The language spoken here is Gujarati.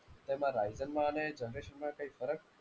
તેમાં Ryzen માં અને generation માં કંઈ ફરક?